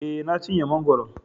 E, Na cinye mangwaron.